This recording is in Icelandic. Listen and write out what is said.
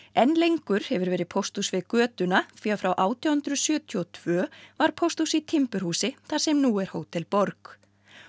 enn lengur hefur verið pósthús við götuna því að frá átján hundruð sjötíu og tvö var pósthús í timburhúsi þar sem nú er Hótel borg